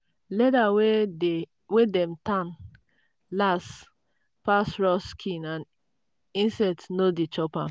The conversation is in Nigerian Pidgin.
leather wey dey dem tan last pass raw skin and insect no dey chop am.